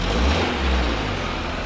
Ay maşın.